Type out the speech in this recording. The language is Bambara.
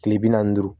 Kile bi naani ni duuru